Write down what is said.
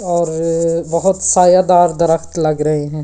और बहुत सायादार दरख्त लग रहे हैं।